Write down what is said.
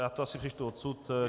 Já to asi přečtu odsud.